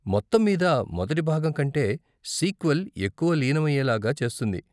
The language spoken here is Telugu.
మొత్తం మీద మొదటి భాగం కంటే సీక్వెల్ ఎక్కువ లీనమయ్యేలాగా చేస్తుంది.